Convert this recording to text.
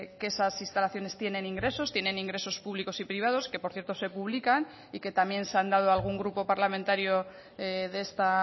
que esas instalaciones tienen ingresos tienen ingresos públicos y privados que por cierto se publican y que también se han dado a algún grupo parlamentario de esta